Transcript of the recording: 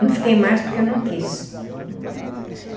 Não fiquei mais porque eu não quis. Uhum.